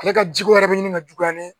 Ale ka jiko wɛrɛ bɛ ɲini ka juguya ne ye